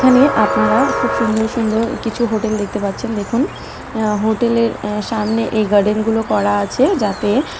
এখানে আপনারা খুব সুন্দর সুন্দর কিছু হোটেল দেখতে পাচ্ছেন দেখুন। আ হোটেলে সামনে এই গার্ডেন গুলো করা আছে যাতে--